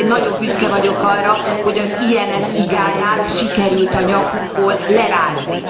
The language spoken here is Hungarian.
Magyarként nagyon büszke vagyok arra, hogy az IMF igáját sikerült a nyakunkból lerázni.